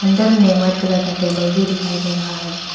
अंदर में white colour का टेबल भी दिखाई दे रहा है।